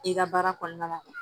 I ka baara kɔnɔna la